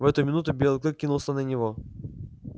в эту минуту белый клык кинулся на него